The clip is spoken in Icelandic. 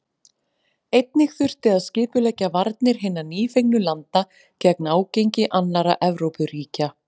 Einnig þurfti að skipuleggja varnir hinna nýfengnu landa gegn ágangi annarra Evrópuríkja.